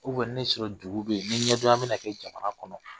sɔrɔ juru bɛ yen, ni ɲɛdonya bɛna kɛ jamana kɔnɔ